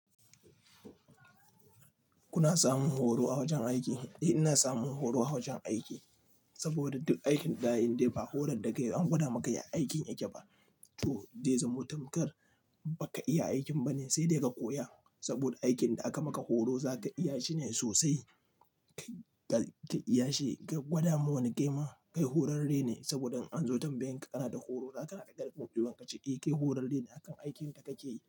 Kuna samun horo a wajen aiki? Eh ina samun horo a wajen aiki saboda duk aikin daza ayi indai ba horar da kai an gwada maka ya aikin yake ba. To dai zamo tamkar baka iya aikin bane sai dai ka koya saboda aikin da aka maka horo zaka iya shi ne sosai. Kai iya shi ka gwada ma wani kaima kai horarre ne saboda in an zo tambayan kana da horo zaka iya karɓa buɗe ka cewa eh kai horarre ne akan aikinka kake yi.